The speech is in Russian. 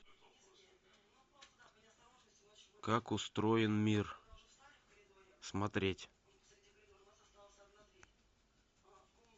как устроен мир смотреть